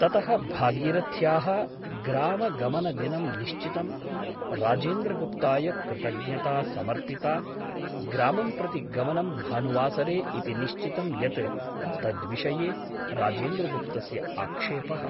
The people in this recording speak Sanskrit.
ततः भागीरथ्याः ग्रामगमनदिनं निश्चितम् । राजेन्द्रगुप्ताय कृतज्ञता समर्पिता । ग्रामं प्रति गमनं भानुवासरे इति निश्चितं यत् तद्विषये राजेन्द्रगुप्तस्य आक्षेपः ।